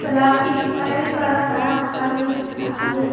तालाब के एक साइड बड़ा सारा पहाड़ भी दिख रहा है।